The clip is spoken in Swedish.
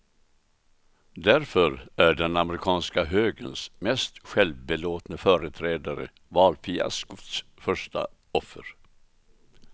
Därför är den amerikanska högerns mest självbelåtne företrädare valfiaskots första offer.